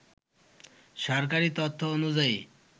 সরকারি তথ্য অনুযায়ী